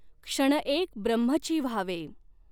क्षणएक ब्रह्मचि व्हावें।